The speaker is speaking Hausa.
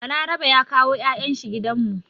Balarabe ya kawo 'ya'yan shi gidan mu.